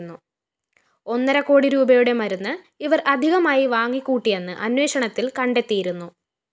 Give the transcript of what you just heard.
ഒന്നരക്കോടി രൂപയുടെ മരുന്ന് ഇവര്‍ അധികമായി വാങ്ങിക്കൂട്ടിയെന്ന് അന്വേഷണത്തില്‍ കണ്ടെത്തിയിരുന്നു